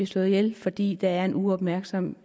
slået ihjel fordi der er en uopmærksom